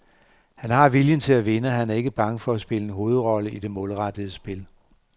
Han har viljen til at vinde, og han er ikke bange for at spille en hovedrolle i det målrettede spil.